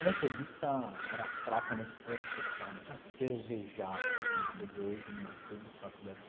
A Metodista era fraca nesse ponto social, não tinha cervejada, né, como você vê hoje meu em todas as faculdades.